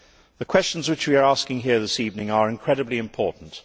The questions which we are asking here this evening are incredibly important.